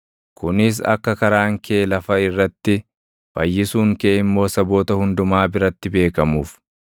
kunis akka karaan kee lafa irratti, fayyisuun kee immoo saboota hundumaa biratti beekamuuf.